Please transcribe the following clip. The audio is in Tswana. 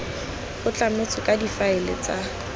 go tlametswe ka difaele tsa